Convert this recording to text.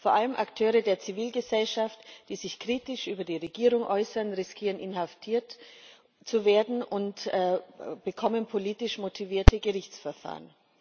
Vor allem Akteure der Zivilgesellschaft, die sich kritisch über die Regierung äußern, riskieren, inhaftiert zu werden, und bekommen politisch motivierte Gerichtsverfahren.